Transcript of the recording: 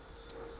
a ja ha ke kgore